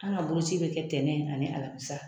An ka boloci bɛ kɛ tɛnɛn ani alamisa.